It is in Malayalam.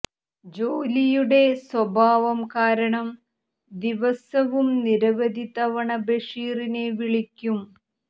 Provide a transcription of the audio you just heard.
ജോലിയുടെ സ്വഭാവം കാരണം ദിവസവും നിരവധി തവണ ബഷീറിനെ വിളിക്കും